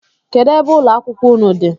Kedụ ebe ụlọakwụkwọ unu dị?